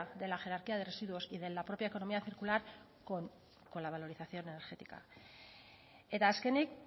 de la jerarquía de residuos y de la propia economía circular con la valorización energética eta azkenik